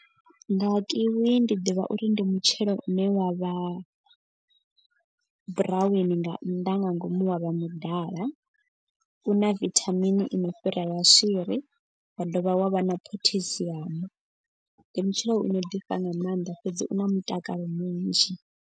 Nga kiwi ndi ḓivha uri ndi mutshelo une wa vha buraweni nga nnḓa nga ngomu wa vha mudala. U na vithamini i no fhira ya maswiri wa dovha wa vha na potassium. Ndi mutshelo uno ḓifha nga maanḓa fhedzi u na mutakalo munzhi.